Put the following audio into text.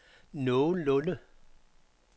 nogenlunde